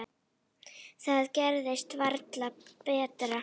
Það gerist varla betra.